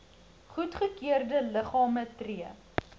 goedgekeurde liggame tree